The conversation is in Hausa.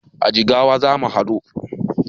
A Jigawa zamu haɗu